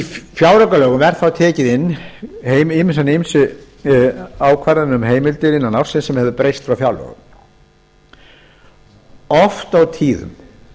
í fjáraukalögum eru þá teknar inn háar ýmsu ákvarðanir um heimildir innan ársins sem er breytt frá fjárlögum oft og tíðum